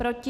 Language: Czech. Proti?